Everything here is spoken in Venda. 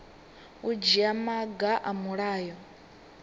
u dzhia maga a mulayo